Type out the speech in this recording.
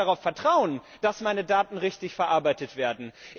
Ich kann gar nicht vertrauen, dass meine Daten richtig verarbeitet werden.